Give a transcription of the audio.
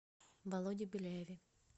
володе беляеве